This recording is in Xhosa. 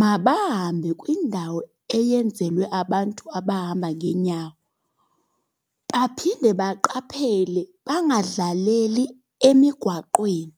mabahambe kwindawo eyenzelwe abantu abahamba ngeenyawo. Baphinde baqaphele bangadlaleli emigwaqweni.